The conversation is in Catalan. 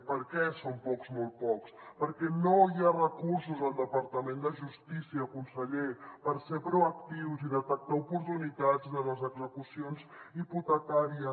per què són pocs molt pocs perquè no hi ha recursos al departament de justícia conseller per ser proactius i detectar oportunitats de les execucions hipotecàries